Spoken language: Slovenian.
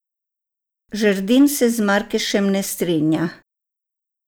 Žerdin se z Markešem ne strinja.